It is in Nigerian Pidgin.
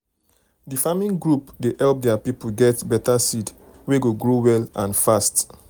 the farming group dey help their people get better seed wey go grow well and fast.